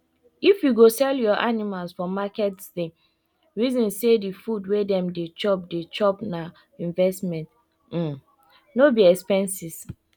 if you go sell your animals for marketsdey reason say the food wey dem dey chop dey chop na investment um no be expenses